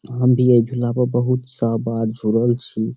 हम भी ए झूला पर बहुत सा बार झूलल छी।